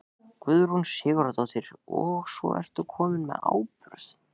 Guðrún Sigurðardóttir: Og svo ertu kominn með áburð?